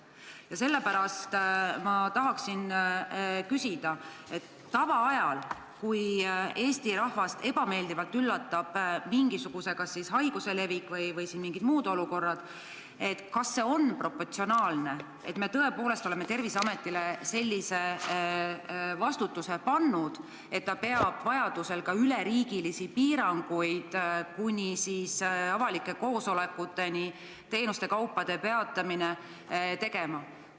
Ja sellepärast ma tahan küsida, et kui tavaajal üllatab Eesti rahvast ebameeldivalt mingisuguse haiguse levik või mingisugune muu olukord, siis kas on proportsionaalne, et me tõepoolest oleme Terviseametile pannud sellise vastutuse, et ta peab vajaduse korral seadma ka üleriigilisi piiranguid, kuni avalike koosolekute korraldamise ja teenuste osutamise peatamiseni välja.